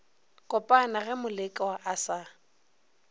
kopana ge molekwa a sa